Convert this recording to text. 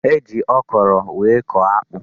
E ji okoro wee kọọ akpụ.